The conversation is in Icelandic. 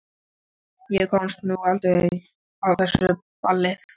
Ég komst nú aldrei á blessað ballið.